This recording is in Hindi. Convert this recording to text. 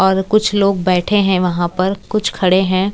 और कुछ लोग बैठे हैं वहां पर कुछ खड़े हैं।